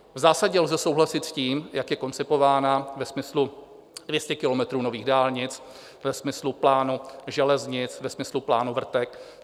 V zásadě lze souhlasit s tím, jak je koncipována ve smyslu 200 kilometrů nových dálnic, ve smyslu plánu železnic, ve smyslu plánu vrtek.